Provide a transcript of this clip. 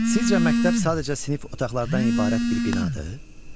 Sizcə məktəb sadəcə sinif otaqlarından ibarət bir binadır?